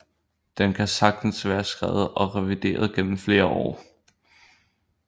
Den kan sagtens være skrevet og revideret gennem flere år